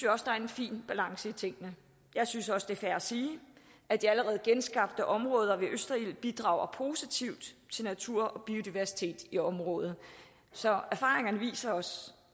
også der er en fin balance i tingene jeg synes også det er fair at sige at de allerede genskabte områder ved østerild bidrager positivt til natur og biodiversitet i området så erfaringerne viser os